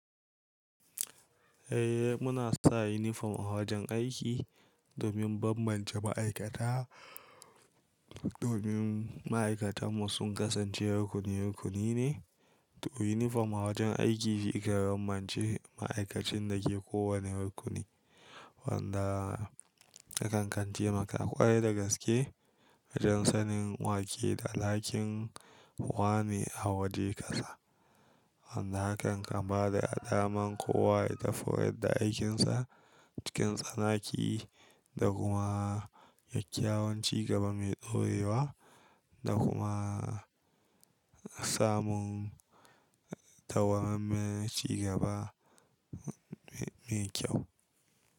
Eh muna sa uniform a wajen aiki domin bambance ma'aikata. Domin ma'aikatan mu sun kasance rukuni-rukuni ne, to uniform a wajen aiki shi ke bambance ma'aikacin da ke kowanne rukuni wanda hakan kan taimaka ƙwarai da gaske wajen sanin wake da Halakin wane a waje ƙasa. Wanda hakan kan bada daman kowa ya tafiyar da aikinsa cikin tsanaki da kuma kyakyawan ci gaba mai daure wa da kuma samun tawammen cigaba me kyau.